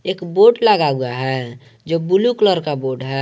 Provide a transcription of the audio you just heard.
एक बोर्ड लगा हुआ है जो ब्लू कलर का बोर्ड है।